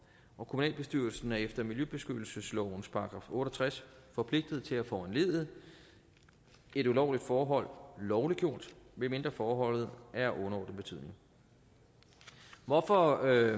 og kommunalbestyrelsen er efter miljøbeskyttelseslovens § otte og tres forpligtet til at foranledige et ulovligt forhold lovliggjort medmindre forholdet er af underordnet betydning hvorfor